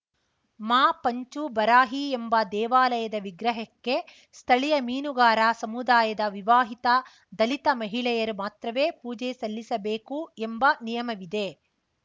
ಮಾ ಪಂಚುಬರಾಹಿ ಎಂಬ ದೇವಾಲಯದ ವಿಗ್ರಹಕ್ಕೆ ಸ್ಥಳೀಯ ಮೀನುಗಾರ ಸಮುದಾಯದ ವಿವಾಹಿತ ದಲಿತ ಮಹಿಳೆಯರು ಮಾತ್ರವೇ ಪೂಜೆ ಸಲ್ಲಿಸಬೇಕು ಎಂಬ ನಿಯಮವಿದೆ